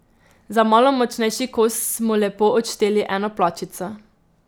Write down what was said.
Za malo močnejši kos smo lepo odšteli eno plačico.